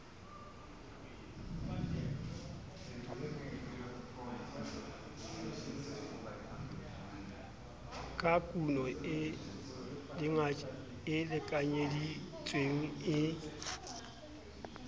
ka kuno e lekanyeditsweng e